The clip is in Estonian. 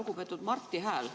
Lugupeetud Marti Hääl!